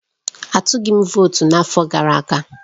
Atụghị m votu n'afọ gara aga